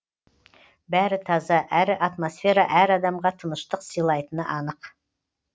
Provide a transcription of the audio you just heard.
бәрі таза әрі атмосфера әр адамға тыныштық сыйлайтыны анық